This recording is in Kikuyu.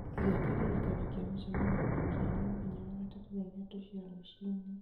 ĩga kĩririkano kĩa mũcemanio na kĩarie mũthenya wa gatatũ thaa ithatũ cia rũciinĩ